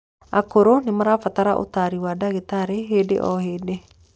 Akũrũ nimarabatara utaari wa ndagĩtarĩ hĩndĩ o hĩndĩ